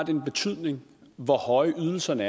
en betydning hvor høje ydelserne